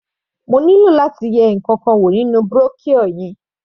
Mo nílò láti yẹ ǹkankan wò nínú brochure yẹn.